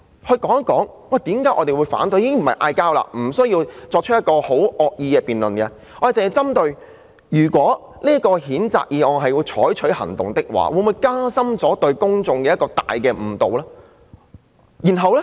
大家不是對罵，也不需要惡意的辯論，只是針對一旦要對這項譴責議案採取行動，會否造成對公眾的嚴重誤導。